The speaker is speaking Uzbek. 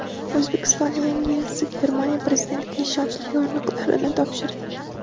O‘zbekistonning yangi elchisi Germaniya prezidentiga ishonch yorliqlarini topshirdi.